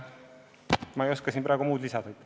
Ma ei oska siin praegu muud lisada.